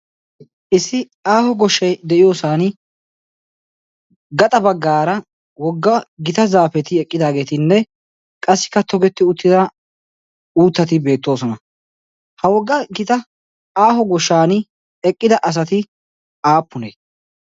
issi aaho goshshai de'iyoosan gaxa baggaara wogga gita zaafeti eqqidaageetinne qassi kattogetti uttida uuttati beettoosona ha wogga gita aaho goshshan eqqida asati aappunee?